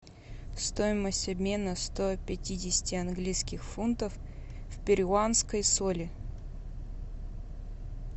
стоимость обмена сто пятидесяти английских фунтов в перуанской соли